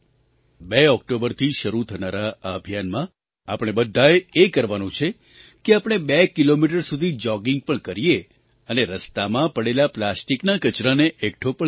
બે ઑક્ટોબરથી શરૂ થનારા આ અભિયાનમાં આપણે બધાએ એ કરવાનું છે કે આપણે બે કિલોમીટર સુધી જૉગિંગ પણ કરીએ અને રસ્તામાં પડેલા પ્લાસ્ટિકના કચરાને એકઠો પણ કરીએ